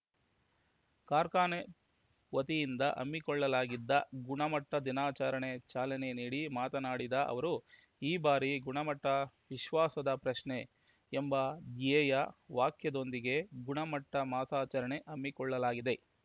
ಕಾರ್ಖಾನೆ ವತಿಯಿಂದ ಹಮ್ಮಿಕೊಳ್ಳಲಾಗಿದ್ದ ಗುಣಮಟ್ಟದಿನಾಚರಣೆಗೆ ಚಾಲನೆ ನೀಡಿ ಮಾತನಾಡಿದ ಅವರು ಈ ಬಾರಿ ಗುಣಮಟ್ಟ ವಿಶ್ವಾಸದ ಪ್ರಶ್ನೆ ಎಂಬ ಧ್ಯೇಯ ವಾಕ್ಯದೊಂದಿಗೆ ಗುಣಮಟ್ಟಮಾಸಾಚರಣೆ ಹಮ್ಮಿಕೊಳ್ಳಲಾಗಿದೆ